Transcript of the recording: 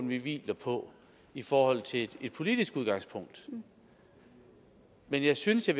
vi hviler på i forhold til et politisk udgangspunkt men jeg synes at